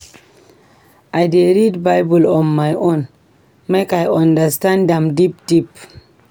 I dey read Bible on my own make I understand am deep deep.